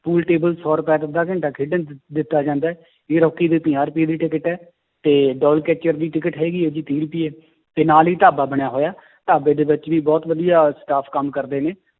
pool table ਸੌ ਰੁਪਏ 'ਚ ਅੱਧਾ ਘੰਟਾ ਖੇਡਣ ਦਿ~ ਦਿੱਤਾ ਜਾਂਦਾ ਹੈ air ਹਾਕੀ ਦੀ ਪੰਜਾਹ ਰੁਪਏ ਦੀ ਟਿੱਕਟ ਹੈ, ਤੇ ਦੀ ਟਿੱਕਟ ਹੈਗੀ ਹੈ ਜੀ ਤੀਹ ਰੁਪਏ ਤੇ ਨਾਲ ਹੀ ਢਾਬਾ ਬਣਿਆ ਹੋਇਆ, ਢਾਬੇ ਦੇ ਵਿੱਚ ਵੀ ਬਹੁਤ ਵਧੀਆ staff ਕੰਮ ਕਰਦੇ ਨੇ,